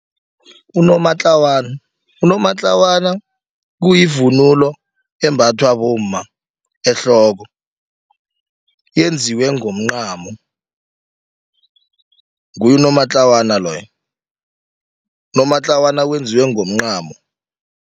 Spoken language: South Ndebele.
Unomatlawana, unomatlawana kuyivunulo embathwa bomma ehloko yenziwe ngomncamo nguye unomatlawana loyo unomatlawana wenziwe ngomncamo.